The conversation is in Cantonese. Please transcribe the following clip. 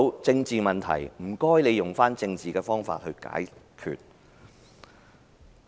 政治問題，請你們用政治方法來解決。